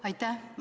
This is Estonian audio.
Aitäh!